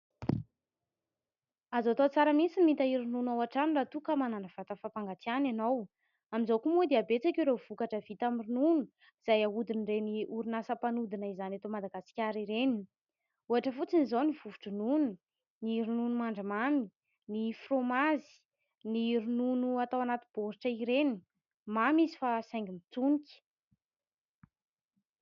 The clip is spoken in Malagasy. Azo atao tsara mihitsy ny mitahiry ronono ao an-trano raha toa ka manana vata fampangatsiahana ianao. Amin'izao koa moa dia betsaka ireo vokatra vita amin'ny ronono izay ahodin'ireny orinasa mpanodina izany eto Madagasikara ireny. Ohatra fotsiny izao ny vovo-dronono, ny ronono mandry mamy, ny frômazy, ny ronono atao anaty boritra ireny. Mamy izy fa saingy mitsonika.